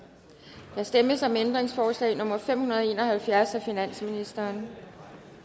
der stemmes om ændringsforslag nummer fem hundrede og en og halvfjerds af finansministeren